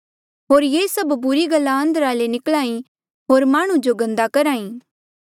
होर ये सब बुरी गल्ला अंदरा ले ई निकल्हा ई होर माह्णुं जो गन्दा करहा ई